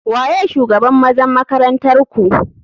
Waye shugaban ,mazan makaranntarku.